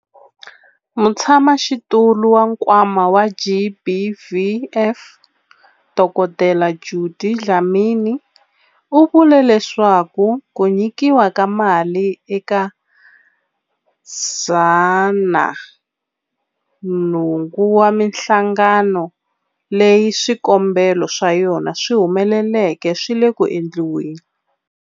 Mutshamaxitulu wa Nkwama wa GBVF, Dkd Judy Dlamini, u vule leswaku ku nyikiwa ka mali eka 108 wa mihlangano leyi swikombelo swa yona swi humeleleke swi le ku endliweni.